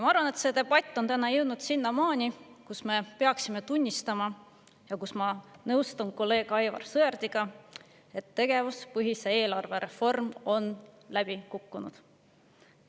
Ma arvan, et see debatt on täna jõudnud sinnamaani, kus me peaksime tunnistama – ma nõustun siin kolleeg Aivar Sõerdiga –, et tegevuspõhise eelarve reform on läbi kukkunud.